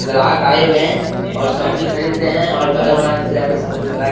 ग्राहक आए हुए हैं और सब्जी खरीद रहे हैं घर बना के जा के सब्जी बना के --